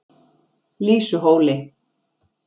Lýsuhóli